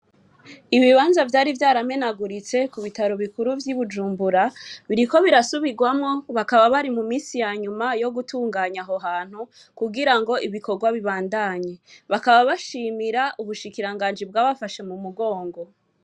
Ibibanza vyari vyaramenaguritse ku bitaro bikuru vy'i Bujumbura, biriko birasubirwamwo. Bakaba bari mu minsi ya nyuma yo gutunganya aho hantu kugira ngo ibikorwa bibandandanye. Bakaba bashimira ubushikiranganji bwabafashe mu mugongo.